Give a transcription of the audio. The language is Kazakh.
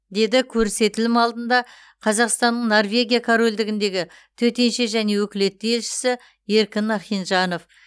деді көрсетілім алдында қазақстанның норвегия корольдігіндегі төтенше және өкілетті елшісі еркін ахинжанов